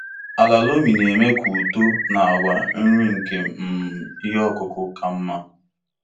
Ala loamy na-eme ka ụtọ na àgwà nri nke um ihe ọkụkụ ka mma.